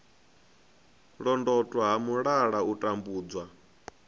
londotwa ha mulala u tambudzwa